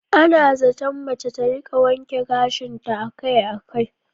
Ana zaton mace ta rika wanke gashinta akai-akai.